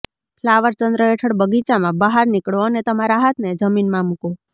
flower ચંદ્ર હેઠળ બગીચામાં બહાર નીકળો અને તમારા હાથને જમીનમાં મૂકો